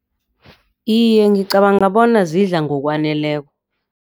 Iye, ngicabanga bona zidla ngokwaneleko.